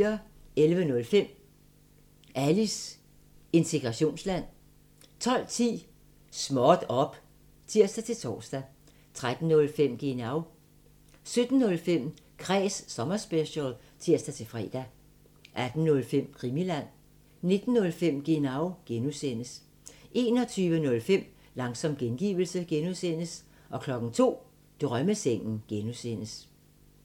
11:05: Alis integrationsland 12:10: Småt op! (tir-tor) 13:05: Genau 17:05: Kræs sommerspecial (tir-fre) 18:05: Krimiland 19:05: Genau (G) 21:05: Langsom gengivelse (G) 02:00: Drømmesengen (G)